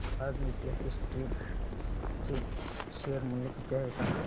आज नीतेश एस्टेट्स चे शेअर मूल्य किती आहे सांगा